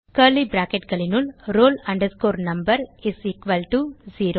curly bracketகளினுள் roll number is equal to 0